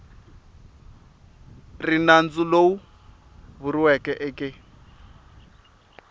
ri nandzu lowu vuriweke eke